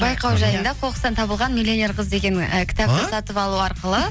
байқау жайында қоқыстан табылған миллионер қыз деген ы сатып алу арқылы